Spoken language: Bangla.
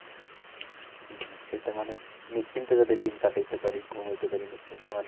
হম হম সেটা মানে নিশ্চিন্তে যাতে দিন কাটাইতে পারি, ঘুমাইতে পারি নিশ্চিন্ত মনে।